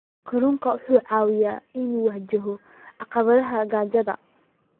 Kalluunku waxa uu caawiyaa in uu wajaho caqabadaha gaajada.